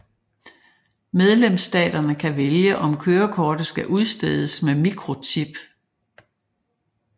Medlemsstaterne kan vælge om kørekortet skal udstedes med mikrochip